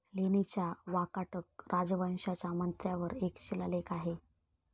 लेणीच्या वाकाटक राजवंशाच्या मंत्र्यावर एक शिलालेख आहे.